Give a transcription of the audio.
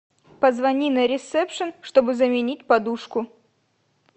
позвони на ресепшн чтобы заменить подушку